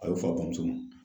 A y'o f'a bamuso ma.